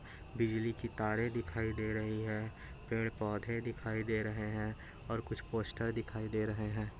बिजली की तारे दिखाई दे रही हैं पेड़ पौधे दिखाई दे रहे हैं और कुछ पोस्टर दिखाई दे रहे हैं।